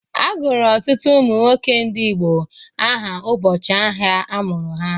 A gụrụ ọtụtụ ụmụ nwoke ndị Igbo aha ụbọchị ahịa a mụrụ ha.